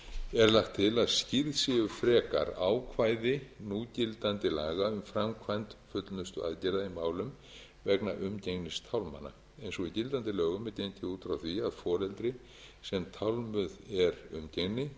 er lagt til að skýrð séu frekar ákvæði núgildandi laga um framkvæmd fullnustuaðgerða í málum vegna umgengnistálmana eins og í gildandi lögum er gengið út frá því að foreldri sem tálmuð er umgengni